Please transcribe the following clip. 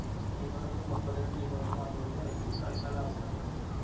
Team കളിൽനിന്നും മുപ്പത്തി രണ്ട് Team കൾക്ക് മാത്രോള്ളൂ കളിക്കാനുള്ളവസരം കിട്ടൂളു